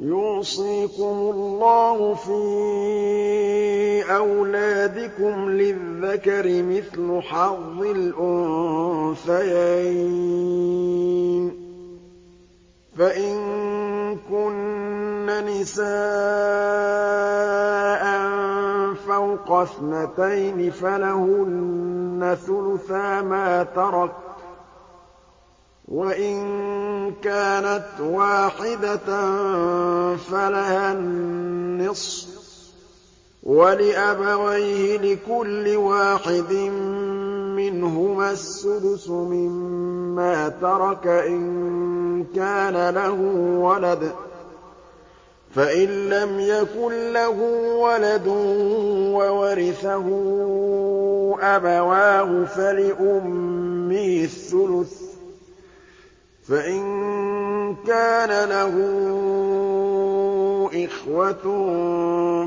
يُوصِيكُمُ اللَّهُ فِي أَوْلَادِكُمْ ۖ لِلذَّكَرِ مِثْلُ حَظِّ الْأُنثَيَيْنِ ۚ فَإِن كُنَّ نِسَاءً فَوْقَ اثْنَتَيْنِ فَلَهُنَّ ثُلُثَا مَا تَرَكَ ۖ وَإِن كَانَتْ وَاحِدَةً فَلَهَا النِّصْفُ ۚ وَلِأَبَوَيْهِ لِكُلِّ وَاحِدٍ مِّنْهُمَا السُّدُسُ مِمَّا تَرَكَ إِن كَانَ لَهُ وَلَدٌ ۚ فَإِن لَّمْ يَكُن لَّهُ وَلَدٌ وَوَرِثَهُ أَبَوَاهُ فَلِأُمِّهِ الثُّلُثُ ۚ فَإِن كَانَ لَهُ إِخْوَةٌ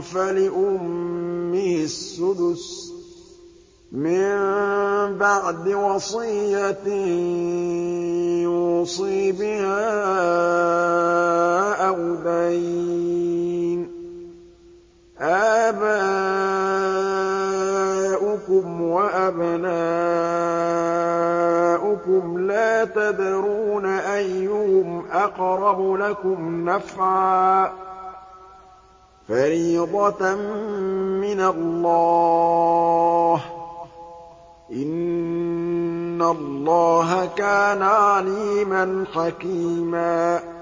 فَلِأُمِّهِ السُّدُسُ ۚ مِن بَعْدِ وَصِيَّةٍ يُوصِي بِهَا أَوْ دَيْنٍ ۗ آبَاؤُكُمْ وَأَبْنَاؤُكُمْ لَا تَدْرُونَ أَيُّهُمْ أَقْرَبُ لَكُمْ نَفْعًا ۚ فَرِيضَةً مِّنَ اللَّهِ ۗ إِنَّ اللَّهَ كَانَ عَلِيمًا حَكِيمًا